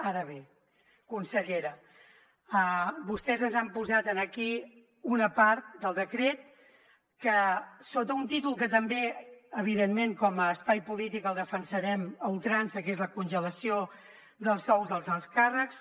ara bé consellera vostès ens han posat aquí una part del decret que sota un títol que també evidentment com a espai polític el defensarem a ultrança que és la congelació dels sous dels alts càrrecs